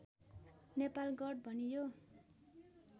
नेपालगढ भनियो